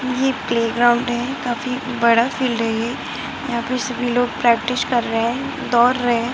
ये प्लेग्राउंड है काफी बड़ा फील्ड है ये यहाँ पे सभी लोग प्रैक्टिस कर रहे हैं दौड़ रहे हैं ।